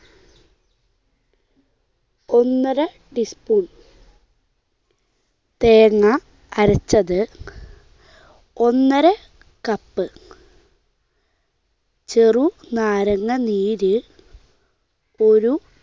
ഒന്നര ടീസ്പൂൺ. തേങ്ങ അരച്ചത് ഒന്നര കപ്പ്. ചെറുനാരങ്ങ നീര് ഒരു